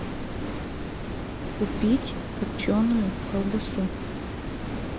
купить копченую колбасу